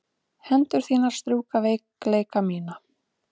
Hendur þínar strjúka veikleika mína.